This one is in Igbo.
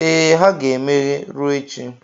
Ee, ha ga-emeghe ruo echi.